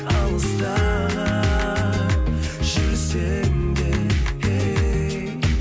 алыста жүрсең де ей